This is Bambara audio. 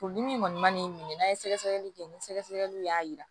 Furudimi kɔni mana n'i minɛ n'a ye sɛgɛsɛgɛliw kɛ ni sɛgɛsɛgɛliw y'a yira